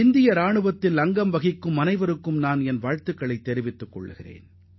இந்தியாவின் பாதுகாப்புப் படைகளில் அங்கம் வகிக்கும் ஒவ்வொருவருக்கும் நான் தலைவணங்குகிறேன்